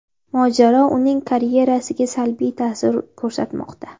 Mojaro uning karyerasiga salbiy ta’sir ko‘rsatmoqda.